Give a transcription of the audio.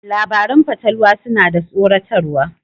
Labaran fatalwa suna da tsoratarwa.